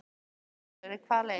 Karen Kjartansdóttir: Hvaða leið?